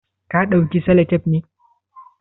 Ka dauki salatep ne?